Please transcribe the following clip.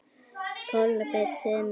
Kolbeinn Tumi Fleira?